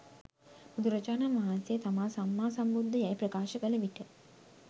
බුදුරජාණන් වහන්සේ තමා සම්මා සම්බුද්ධ යැයි ප්‍රකාශ කළ විට